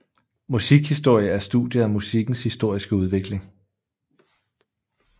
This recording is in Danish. Musikhistorie er studiet af musikkens historiske udvikling